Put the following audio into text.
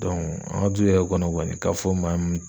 an ka du yɛrɛ kɔnɔ kɔni ka fɔ maa mun